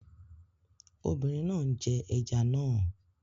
Obìnrin náà ń jẹ ẹja náà